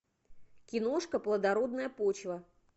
киношка плодородная почва